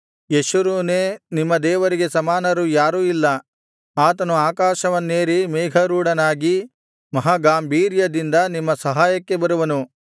ಯೆಶುರೂನೇ ನಿಮ್ಮ ದೇವರಿಗೆ ಸಮಾನರು ಯಾರು ಇಲ್ಲ ಆತನು ಆಕಾಶವನ್ನೇರಿ ಮೇಘಾರೂಢನಾಗಿ ಮಹಾಗಾಂಭೀರ್ಯದಿಂದ ನಿಮ್ಮ ಸಹಾಯಕ್ಕೆ ಬರುವನು